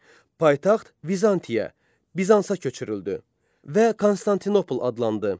Paytaxt Vizantiyaya, Bizansa köçürüldü və Konstantinopol adlandı.